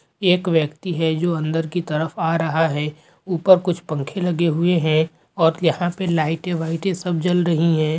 एक व्यक्ति है जो अंदर की तरफ आ रहा है ऊपर कुछ पंखे लगे हुए है और यहाँ पे लाइटें -वाइटे सब जल रही हैं।